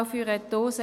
Auch für eine Dose